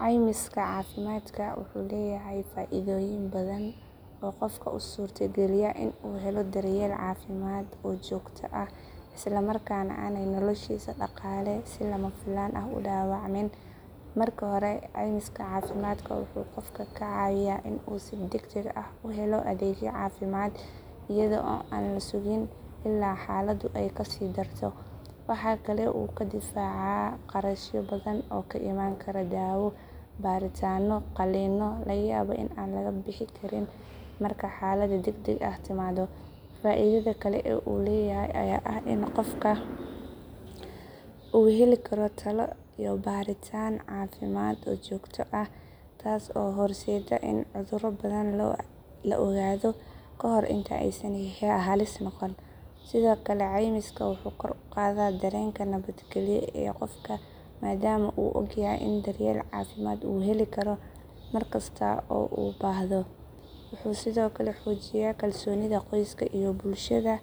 Ceymiska caafimaadka wuxuu leeyahay faa’iidooyin badan oo qofka u suurtageliya in uu helo daryeel caafimaad oo joogto ah isla markaana aanay noloshiisa dhaqaale si lama filaan ah u dhaawacmin. Marka hore ceymiska caafimaadka wuxuu qofka ka caawiyaa in uu si degdeg ah u helo adeegyo caafimaad iyada oo aan la sugin ilaa xaaladdu ay kasii darto. Waxa kale oo uu ka difaacayaa kharashyo badan oo ka iman kara daawo, baaritaanno iyo qalliinno laga yaabo in aan laga bixi karin marka xaalad degdeg ah timaado. Faa’iidada kale ee uu leeyahay ayaa ah in qofka uu heli karo talo iyo baaritaan caafimaad oo joogto ah taas oo horseedda in cudurro badan la ogaado ka hor inta aysan halis noqon. Sidoo kale ceymiska wuxuu kor u qaadaa dareenka nabadgelyo ee qofka maadaama uu ogyahay in daryeel caafimaad uu heli karo mar kasta oo uu u baahdo. Wuxuu sidoo kale xoojiyaa kalsoonida qoyska iyo bulshada